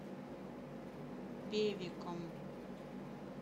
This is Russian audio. певеком